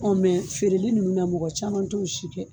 mɛ feereli ninnu na mɔgɔ caman t'o si filɛ